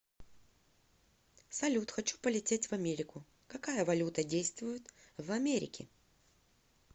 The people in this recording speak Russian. салют хочу полететь в америку какая валюта действует в америке